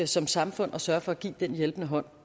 som samfund at sørge for at give den hjælpende hånd